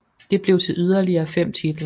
Det blev til yderligere fem titler